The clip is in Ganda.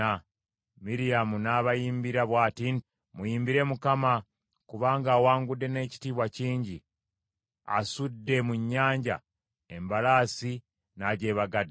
Miryamu n’abayimbira bw’ati nti, “Muyimbire Mukama , kubanga awangudde n’ekitiibwa kingi. Asudde mu nnyanja embalaasi n’agyebagadde.”